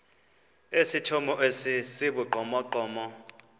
esithomo esi sibugqomogqomo